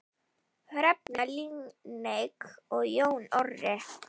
Hrefna Líneik og Jón Orri.